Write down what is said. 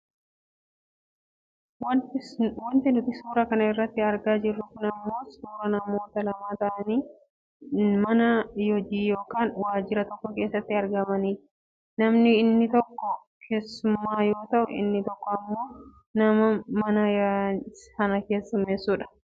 Wanti nuti suura kana irratti argaa jirru kun ammoo suuraa namoota lama ta'anii mana hojii yookaan waajira tokko keessatti argamaniiti. Namni inni tokko keessummaa yoo ta'u inni tokko ammoo nama nama sana keessummeessudha.